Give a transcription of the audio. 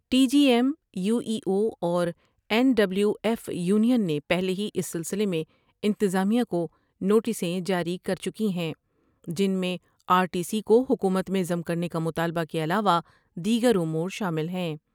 T B M U E U اور N W F union نے پہلے ہی اس سلسلے میں انتظامیہ کونوٹسیں جاری کر چکی ہیں جن میں آرٹی سی کو حکومت میں ضم کرنے کا مطالبہ کے علاوہ دیگر امور شامل ہیں ۔